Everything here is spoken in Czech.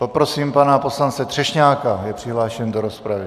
Poprosím pana poslance Třešňáka, je přihlášen do rozpravy.